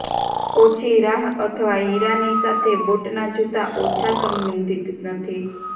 ઓછી રાહ અથવા હીરાની સાથે બોટના જૂતા ઓછા સંબંધિત નથી